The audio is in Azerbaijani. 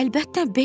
Əlbəttə Bekki.